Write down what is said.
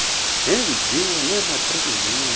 neemviwo zematriki zenyanga